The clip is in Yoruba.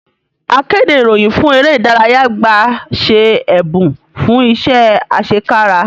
Akéde ìròyìn fún eré ìdárayá gba ṣe ẹ̀bùn fún iṣẹ́ àṣẹkára